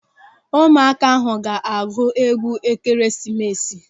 Ụmụaka ahụ ga-agụ egwu Ekeresimesi.